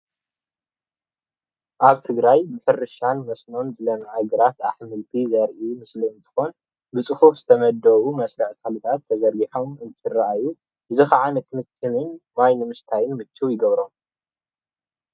ኣብ ትግራይ ብሕርሻ መስኖን ዝለመዐ ግራት ኣሕምልቲ ዘሪኢ ምስሊ እንትኮን ብፅሑፍ ተመዲቦም መስርዕ ተክልታት ተዘርጊሖም እንትራእዩን እዙይ ከዓ ነቲ ምጥንን ማይን ምስታይን ምችው ይገብሮ።